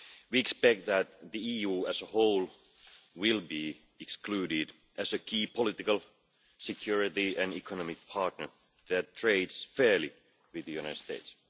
We expect that the EU as a whole will be excluded, as a key political, security and economic partner that trades fairly with the United States.